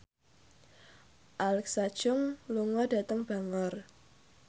Alexa Chung lunga dhateng Bangor